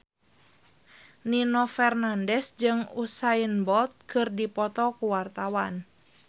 Nino Fernandez jeung Usain Bolt keur dipoto ku wartawan